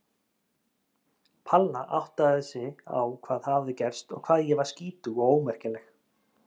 Palla áttaði sig á hvað hafði gerst og hvað ég var skítug og ómerkileg.